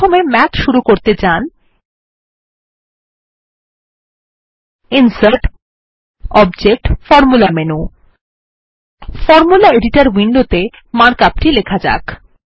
প্রথমে মাথ শুরু করতে যান ইনসার্টগটবজেক্টগৎফরমুলা মেনু ফরম্যাট এডিটর উইন্ডোত়ে মার্ক আপ টি লেখা যাক